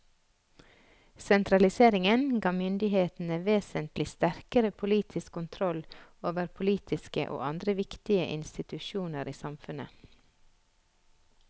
Sentraliseringen ga myndighetene vesentlig sterkere politisk kontroll over politiske og andre viktige institusjoner i samfunnet.